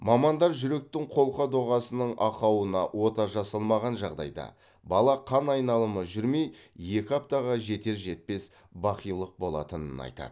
мамандар жүректің қолқа доғасының ақауына ота жасалмаған жағдайда бала қан айналымы жүрмей екі аптаға жетер жетпес бақилық болатынын айтады